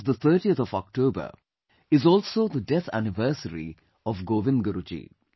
the 30th of October is also the death anniversary of Govind Guru Ji